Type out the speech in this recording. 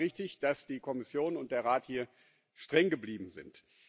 Deswegen war es richtig, dass die Kommission und der Rat hier streng geblieben sind.